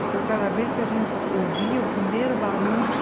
Então, cada vez que a gente ouvia o primeiro barulho,